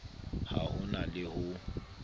ha ho na le ho